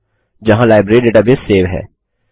जहाँ library database save है